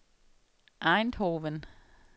Eindhoven